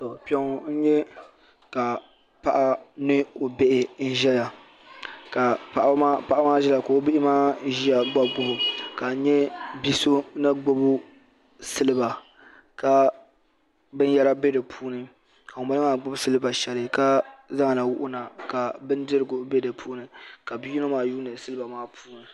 To Kpe ŋɔ n nyɛ ka paɣa ni o bihi n ʒɛya ka paɣa maa ʒiya ka o bihi maa ʒiya gbubi o ka nya bia so ni gbubi siliba ka bin yara bɛ di puuni ka ŋun bala maa gbubi siliba sheli ka zaŋ li wuhi na ka bindirigu bɛ di puuni ka bia yino maa yuuni siliba maa puuni.